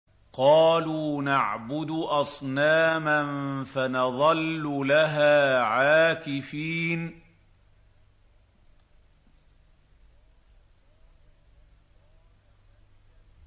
قَالُوا نَعْبُدُ أَصْنَامًا فَنَظَلُّ لَهَا عَاكِفِينَ